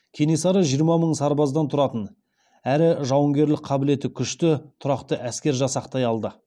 кенесары жиырма мың сарбаздан тұратын әрі жауынгерлік қабілеті күшті тұрақты әскер жасақтай алды